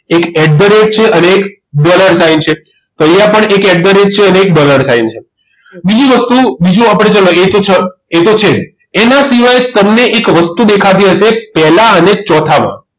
એક at the rate છે અને dollar sign છે તો અહીંયા પણ એક at the rate છે અને અને એક dollar sign છે બીજી જ વસ્તુ બીજું આપણે ચલાવીએ કે એ તો છે જ એના સિવાય તમને એક વસ્તુ દેખાતી હશે પહેલા અને ચોથામાં